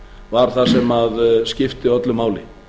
var það sem skipti öllu máli